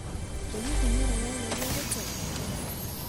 Ĩ hihi nĩũrĩ weyũria gĩtumi?